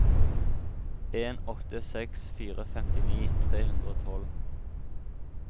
en åtte seks fire femtini tre hundre og tolv